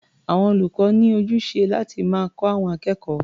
Àwọn olùkọ́ ní ojúṣe láti máa kọ́ àwọn akẹ́kọ̀ó.